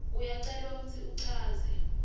uyacelwa kutsi uchaze